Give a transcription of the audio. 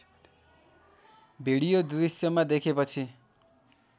video दृश्यमा देखेपछि